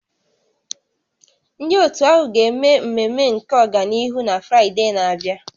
Ndị otu ahụ ga-eme mmemme nke ọganihu na Fraịde na-abịa